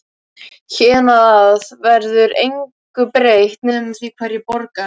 Héðan af verður engu breytt nema því hverjir borga.